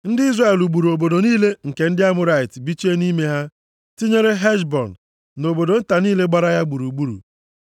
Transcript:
Ndị Izrel lụgburu obodo niile nke ndị Amọrait bichie nʼime ha, tinyere Heshbọn na obodo nta niile gbara ya gburugburu.